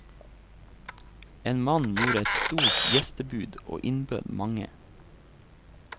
En mann gjorde et stort gjestebud og innbød mange.